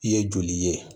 I ye joli ye